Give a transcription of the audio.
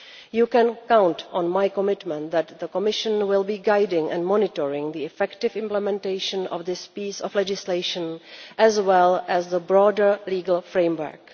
You can count on my commitment that the Commission will be guiding and monitoring the effective implementation of this piece of legislation, as well as the broader legal framework.